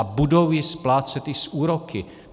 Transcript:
A budou ji splácet i s úroky.